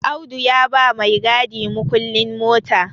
Audu ya ba maigadi mukullin mota